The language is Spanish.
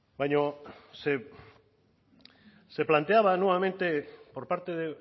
baina se planteaba nuevamente por parte de